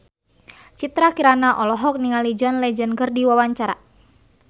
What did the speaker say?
Citra Kirana olohok ningali John Legend keur diwawancara